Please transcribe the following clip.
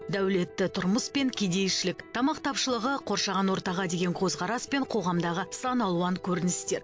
дәулетті тұрмыс пен кедейшілік тамақ тапшылығы қоршаған ортаға деген көзқарас пен қоғамдағы сан алуан көріністер